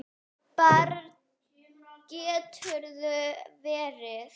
Barn geturðu verið!